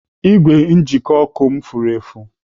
Igwe njikọ ọkụ m furu efu.